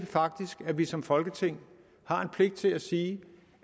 faktisk at vi som folketing har en pligt til at sige